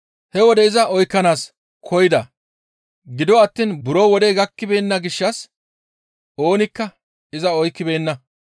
He wode iza oykkanaas koyida; gido attiin buro wodey gakkibeenna gishshas oonikka iza oykkibeenna.